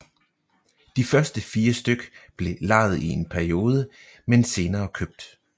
De første fire styk blev lejet i en periode men senere købt